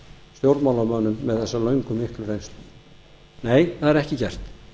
stjórnmálamönnum með þessa löngu og miklu reynslu nei það er ekki gert